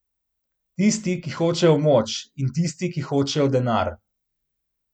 Tisti, ki hočejo moč, in tisti, ki hočejo denar.